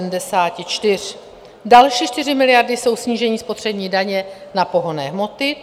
Další 4 miliardy jsou snížení spotřební daně na pohonné hmoty.